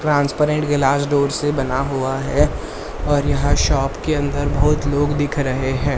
Transparent glass door से बना हुआ है और यहां शॉप के अंदर बहुत लोग दिख रहे हैं।